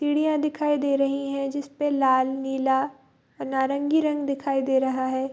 सिडिया दिखाई दे रही है। जिसपे लाल नीला और नारंगी रंग दिखाई दे रहा है।